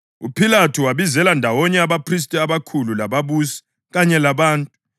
UPhilathu wabizela ndawonye abaphristi abakhulu lababusi kanye labantu